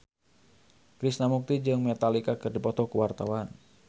Krishna Mukti jeung Metallica keur dipoto ku wartawan